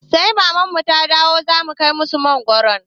Sai maman mu ta dawo za mu kai musu makaronin